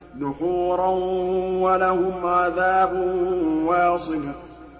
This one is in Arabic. دُحُورًا ۖ وَلَهُمْ عَذَابٌ وَاصِبٌ